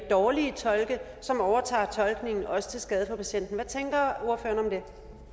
dårlige tolke som overtager tolkningen også til skade for patienten hvad tænker ordføreren om det